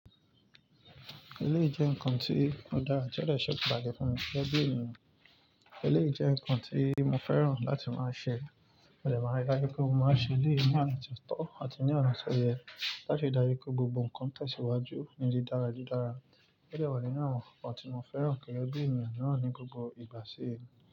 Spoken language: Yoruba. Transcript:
Ele jẹ́ ǹkan tí ó dára, tí ó de sekuù bá dẹ fún gẹ́gẹ́ bi ènìyàn. Eleyi jẹ́ ǹkan tí mo fẹ́ràn láti máa ṣe, mo de máa n dajú pé mo máa n ṣe eléyi ní ona tọ̀tọ̀ àti ní ona ti ọ̀yẹ́ láti ri daju pé gbogbo ǹkan tẹ̀síwájú ní di dára di dára. O dewa nínu àwọn nnkan kan ti mo fẹ́ràn gege bi ènìyàn miran ní gbogbo ìgbà ṣe.